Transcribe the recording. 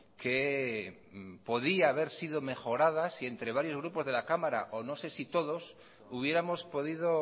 que podía haber sido mejorada si entre varios grupos de la cámara o no sé si todos hubiéramos podido